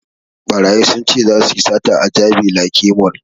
Ɓarayi sun ce zasu yi sata a jabi lake mall